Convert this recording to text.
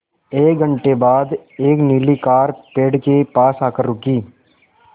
एक घण्टे बाद एक नीली कार पेड़ के पास आकर रुकी